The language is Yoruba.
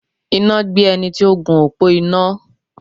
Iná gbé ẹni tí ó gun òpó iná.